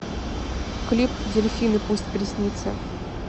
клип дельфины пусть приснится